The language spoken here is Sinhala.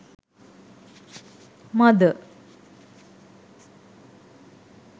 mother